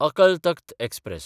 अकल तख्त एक्सप्रॅस